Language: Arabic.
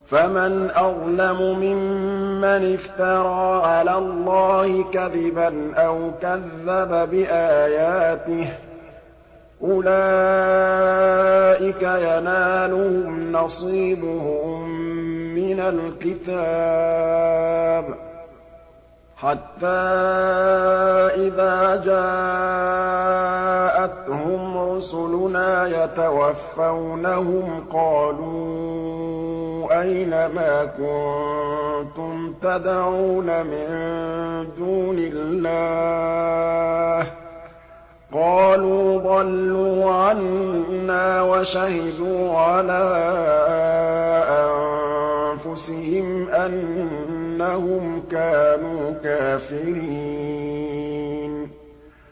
فَمَنْ أَظْلَمُ مِمَّنِ افْتَرَىٰ عَلَى اللَّهِ كَذِبًا أَوْ كَذَّبَ بِآيَاتِهِ ۚ أُولَٰئِكَ يَنَالُهُمْ نَصِيبُهُم مِّنَ الْكِتَابِ ۖ حَتَّىٰ إِذَا جَاءَتْهُمْ رُسُلُنَا يَتَوَفَّوْنَهُمْ قَالُوا أَيْنَ مَا كُنتُمْ تَدْعُونَ مِن دُونِ اللَّهِ ۖ قَالُوا ضَلُّوا عَنَّا وَشَهِدُوا عَلَىٰ أَنفُسِهِمْ أَنَّهُمْ كَانُوا كَافِرِينَ